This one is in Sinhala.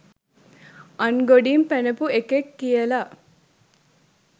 අන්ගොඩින් පැනපු එකෙක් කියලා.